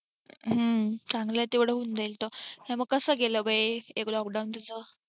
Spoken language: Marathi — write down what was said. हम्म चांगलाय तेवढ होऊन जाईल तो तर हे मंग कसं गेले बे हे lockdown तुझं